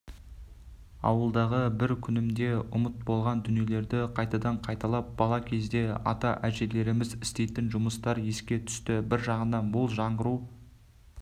ауылдағы бір күнімде ұмыт болған дүниелерді қайтадан қайталап бала кездегі ата-әжелеріміз істейтін жұмыстар еске түсті бір жағынан бұл жаңғыру